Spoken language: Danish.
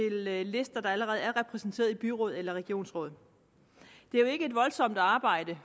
lister der allerede er repræsenteret i byråd eller regionsråd det er jo ikke et voldsomt arbejde